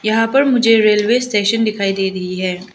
यहां पर मुझे रेलवे स्टेशन दिखाई दे रही है।